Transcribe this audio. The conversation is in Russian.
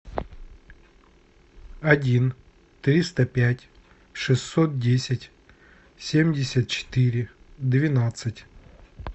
один триста пять шестьсот десять семьдесят четыре двенадцать